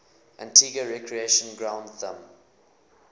antigua recreation ground thumb